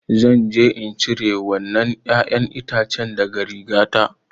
Zan je in cire wannan ruwan ƴaƴan itace daga rigata.